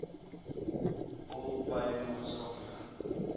all pay maatskaplike